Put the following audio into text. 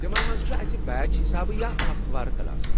تمن منٛز چھِ اسہِ بیچ حسابہٕ یا ہفتہٕ وار کلاس ۔